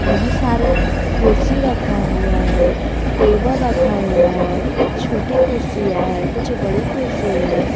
बहुत सारे कुर्सी रखा हुआ है टेबल रखा हुआ है कुछ छोटी कुर्सी है कुछ बड़ी कुर्सी है।